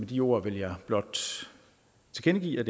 de ord vil jeg blot tilkendegive